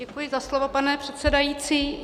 Děkuji za slovo, pane předsedající.